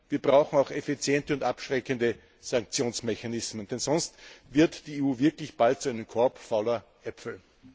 Wir brauchen auch effiziente und abschreckende Sanktionsmechanismen, denn sonst wird die EU wirklich bald zu einem Korb fauler Äpfel.